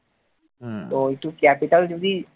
ওই তো ক্যাপিটাল যদি